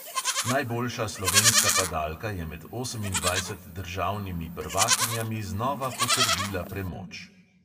Najboljša slovenska padalka je med osemindvajset državnimi prvakinjami znova potrdila premoč.